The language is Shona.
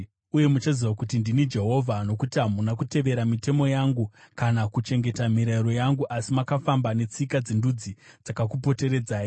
Uye muchaziva kuti ndini Jehovha, nokuti hamuna kutevera mitemo yangu kana kuchengeta mirayiro yangu asi makafamba netsika dzendudzi dzakakupoteredzai.”